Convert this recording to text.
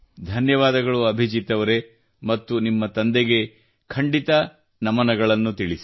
ಧನ್ಯವಾದಗಳು ಅಭಿಜೀತ್ ಅವರೆ ಮತ್ತು ನಿಮ್ಮ ತಂದೆಗೆ ಖಂಡಿತ ನಮನಗಳನ್ನು ತಿಳಿಸಿ